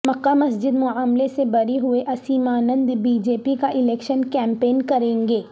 مکہ مسجد معاملے سے بری ہوئے اسیمانند بی جے پی کا الیکشن کیمپین کریں گے